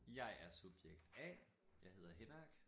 Jeg er subjekt A jeg hedder Henrik